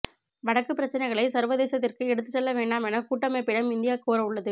வடக்கு பிரச்சினைகளை சர்வதேசத்திற்கு எடுத்துச்செல்ல வேண்டாம் என கூட்டமைப்பிடம் இந்தியா கோரவுள்ளது